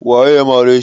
Waye ya mare shi?